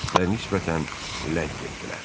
Və nisbətən ləng etdilər.